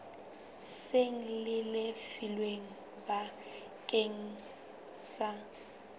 seng le lefilwe bakeng sa